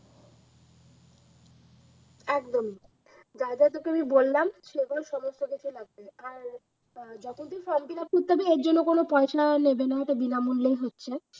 একদম যা যা তোকে আমি বললাম সেগুলো সমস্ত কিছু লাগবে আর যত দিন form fill up করতে হবে এর জন্য কোন পয়সা নেবে না, এটা বিনামূল্যেই হচ্ছে